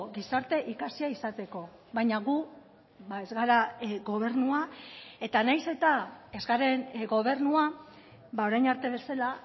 gizarte ikasia izateko baina gu ez gara gobernua eta nahiz eta ez garen gobernua orain arte bezala